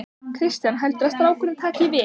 Kristján: Heldurðu að strákurinn taki við?